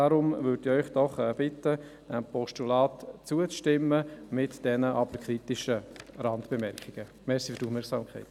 Ich bitte Sie deshalb, dem Postulat zuzustimmen, jedoch die kritischen Randbemerkungen zu beachten.